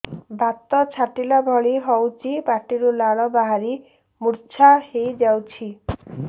ବାତ ଛାଟିଲା ଭଳି ହଉଚି ପାଟିରୁ ଲାଳ ବାହାରି ମୁର୍ଚ୍ଛା ହେଇଯାଉଛି